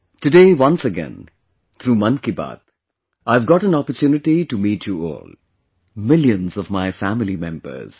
Today once again through 'Mann Ki Baat' I have got an opportunity to meet you all; millions of my family members